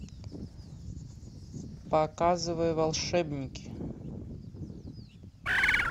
показывай волшебники